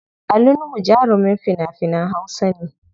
Ali Nuhu jarumin fina finan hausa ne.